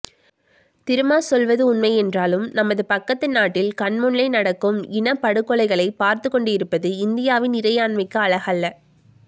திருமா சொல்வது உண்மையென்றாலும் நமது பக்கத்து நாட்டில் கண்முன்னே நடக்கும் இன படுகொலைகளை பார்த்து கொண்டிருப்பது இந்தியாவின் இறையாண்மைக்கு அழகல்ல